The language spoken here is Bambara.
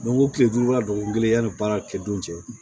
ko tile duuru ka dɔgɔkun kelen yanni baara kɛ don cɛ